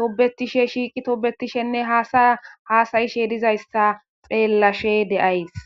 tobetishe shiiqi toobetishenne hasaya haasayishe dizayssa xeellashe de7ays